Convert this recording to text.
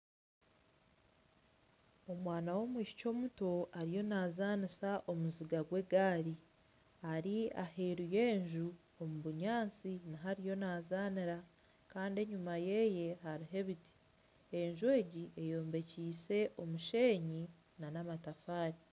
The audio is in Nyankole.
Omwana w'omwishiki muto ariyo naazanisa omuziga gw'egaari ari aheeru y'enju omu binyatsi niho ariyo nazaanira Kandi enyuma ye hariyo ebiti enju egi eyombekiise omusheenyi nana amatafaari